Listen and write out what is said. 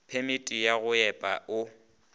phemiti ya go epa o